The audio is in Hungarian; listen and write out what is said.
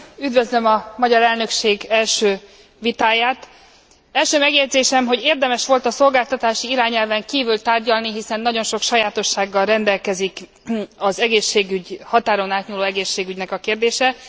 Üdvözlöm a magyar elnökség első vitáját. Első megjegyzésem, hogy érdemes volt a szolgáltatási irányelven kívül tárgyalni, hiszen nagyon sok sajátossággal rendelkezik a határon átnyúló egészségügynek a kérdése.